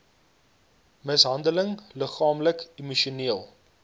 mishandeling liggaamlik emosioneel